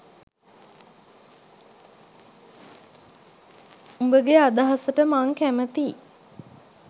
උඹගෙ අදහසට මං කැමතියි.